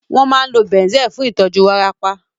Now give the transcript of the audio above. Wọ́n máa ń lo Banzel fún ìtọ́jú wárápá